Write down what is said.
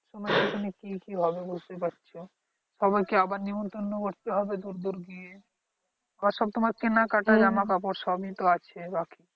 সময়ের পিছনের কি কি হবে বুঝতেই পারছ সবাইকে আবার নিমতন্ন করতে হবে দূর দূর গিয়ে ওসব তোমার কেনাকাটা জামা কাপড় সবই তো আছে বাকি